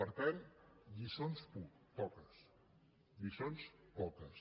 per tant de lliçons poques de lliçons poques